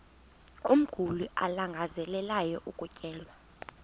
umguli alangazelelayo ukutyelelwa